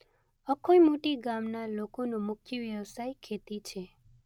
અખોઇ મોટી ગામના લોકોનો મુખ્ય વ્યવસાય ખેતી છે.